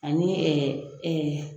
Ani